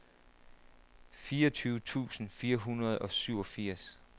fireogtyve tusind fire hundrede og syvogfirs